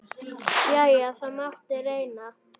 Jæja, það mátti reyna.